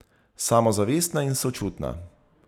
Samozavestna in sočutna.